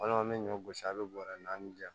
Walima an bɛ ɲɔ gosi a bɛ bɔrɛ naani di yan